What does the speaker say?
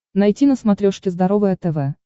найти на смотрешке здоровое тв